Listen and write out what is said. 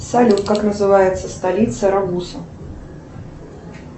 салют как называется столица рагуза